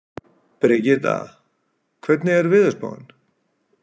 Brigitta, hvernig er veðurspáin?